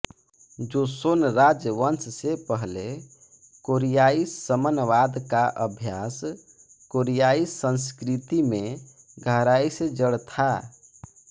Joseon राजवंश से पहले कोरियाई शमनवाद का अभ्यास कोरियाई संस्कृति में गहराई से जड़ था